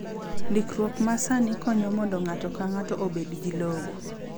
Ndikruok ma sani konyo mondo ng’ato ka ng’ato obed gi lowo.